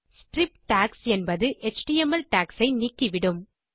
strip tags என்பது HTML tags ஐ நீக்கிவிடும்